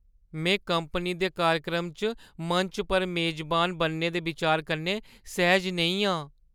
में कंपनी दे कार्यक्रम च मंच पर मेजबान बनने दे बिचार कन्नै सैह्‌ज नेईं आं।